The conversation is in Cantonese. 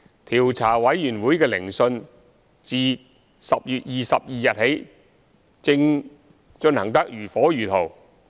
調查委員會的聆訊自10月22日起，正進行得如火如荼。